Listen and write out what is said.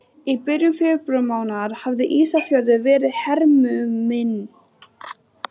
Í byrjun febrúarmánaðar hafði Ísafjörður verið hernuminn.